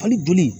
Hali boli